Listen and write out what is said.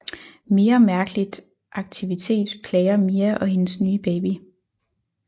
Mere mærkeligt aktivitet plager Mia og hendes nye baby